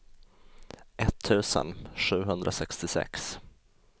etttusen sjuhundrasextiosex